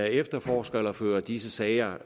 efterforsker eller fører disse sager